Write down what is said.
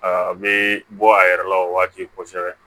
A bɛ bɔ a yɛrɛ la o waati kosɛbɛ